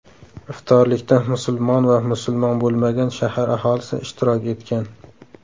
Iftorlikda musulmon va musulmon bo‘lmagan shahar aholisi ishtirok etgan.